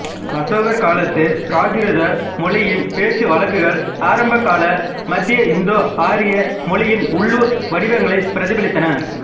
அசோகர் காலத்து பிராகிருத மொழியின் பேச்சுவழக்குகள் ஆரம்பகால மத்தியஇந்தோஆரிய மொழியின் உள்ளூர் வடிவங்களை பிரதிபலித்தன